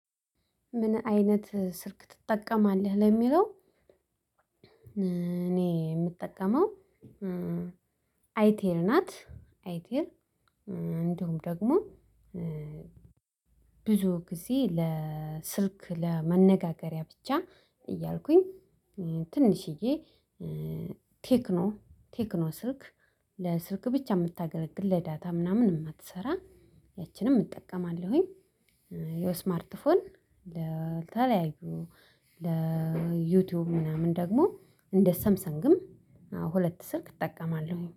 ምን አይነት ስልክ ትጠቀማለህ ለሚለው? እኔ የምጠቀመው አይቴል ናት። አይቴል እንዲሁም ደግሞ። ብዙ ጊዜ ለስልክ ለመነጋገሪያ ብቻ እያልኩኝ ትንሽዬ ቴክኖ ቴክኖ ስልክ ለስልክ ብቻ የምታገለግል ለዳታ ምናምን የማትሰራ ያቺንም እጠቀማለሁኝ። የስማርት ፎን ለተለያዩ ለዩቲዩብ ምናምን ደግሞ እንደ ሰምሰንግም እና ሁለት ስልክ እጠቀማለሁኝ